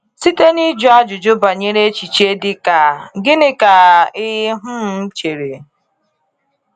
Site n’iji ajụjụ banyere echiche dị ka “Gịnị ka ị um chere?”